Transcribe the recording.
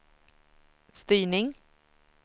styrning